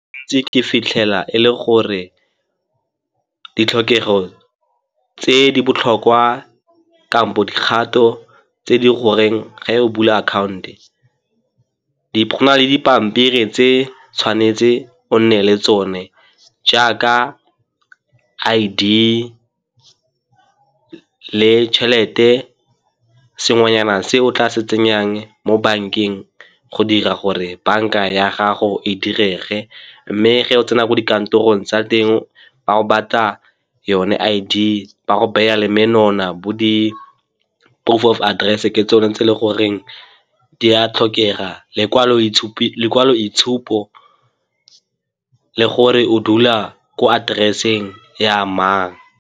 Ke ntse ke fitlhela e le gore ditlhokego tse di botlhokwa kampo dikgato tse di goreng ga o bula account, go na le dipampiri tse tshwanetse o nne le tsone jaaka I_D le tšhelete, sengwenyana se o tla se tsenyang mo bankeng go dira gore banka ya gago e direge. Mme ge o tsena ko dikantorong tsa teng ba go batla yone I_D ba go beya le bo di-proof of address ke tsone tse e le goreng di a tlhokega, lekwalo itshupo le gore o dula ko atereseng ya mang.